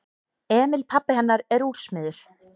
Emil pabbi hennar er úrsmiður.